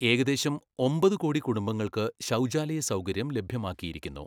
ഏകദേശം ഒമ്പതു കോടി കുടുംബങ്ങൾക്ക് ശൗചാലയ സൗകര്യം ലഭ്യമാക്കിയിരിക്കുന്നു.